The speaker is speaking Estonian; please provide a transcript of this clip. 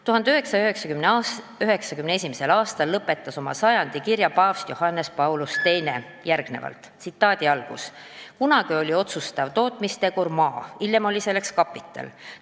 1991. aastal lõpetas paavst Johannes Paulus II oma sajandi kirja järgnevalt: "Kunagi oli otsustav tootmistegur maa ja hiljem oli selleks kapital ...